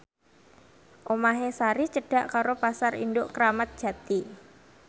omahe Sari cedhak karo Pasar Induk Kramat Jati